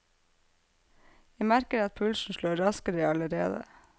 Jeg merker at pulsen slår raskere allerede.